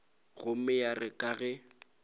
gomme ya re ka ge